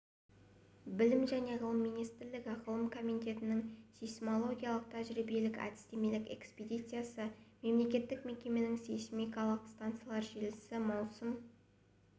білім және ғылым министрлігі ғылым комитетінің сейсмологиялық тәжірибелік әдістемелік экспедициясы мемлекеттік мекемесінің сейсмикалық стансалар желісі маусым